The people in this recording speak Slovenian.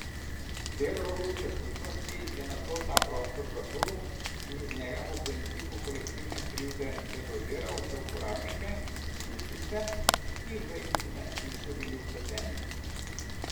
Del Rogovske skupnosti je nato ta prostor zaprl in iz njega po principu kolektivne krivde deložiral vse uporabnike, tudi tiste, ki v incident niso bili vpleteni.